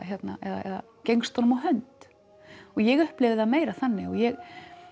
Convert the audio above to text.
eða gengst honum á hönd og ég upplifði það meira þannig og ég